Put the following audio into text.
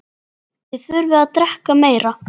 Þið þurfið að drekka meira.